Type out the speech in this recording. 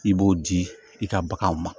I b'o di i ka baganw ma